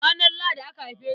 Ranar Lahadi aka haife ni.